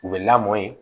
U bɛ lamɔ ye